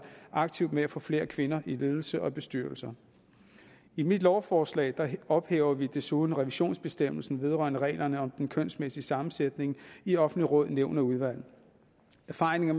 aktivt med at få flere kvinder i ledelse og bestyrelser i mit lovforslag ophæver vi desuden revisionsbestemmelsen vedrørende reglerne om den kønsmæssige sammensætning i offentlige råd nævn og udvalg erfaringerne